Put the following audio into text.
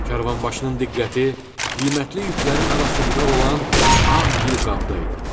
Karvanbaşının diqqəti qiymətli yüklərin arasında olan ağ gil qabda idi.